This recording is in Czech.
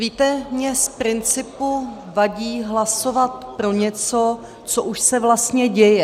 Víte, mně z principu vadí hlasovat pro něco, co už se vlastně děje.